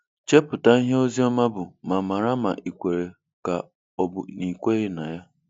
Chepụta ihe Oziọma bụ ma mara ma ị kwere ka ọ bụ na ị kweghị na ya.